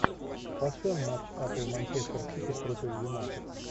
поставь матч апл манчестер сити против юнайтед